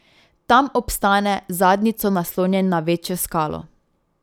Tam obstane z zadnjico naslonjen na večjo skalo.